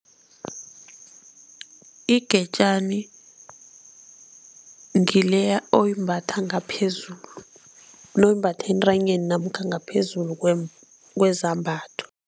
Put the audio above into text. Igetjani ngileya oyimbatha ngaphezulu, le oyimbatha entanyeni namkha ngaphezulu kwezambatho.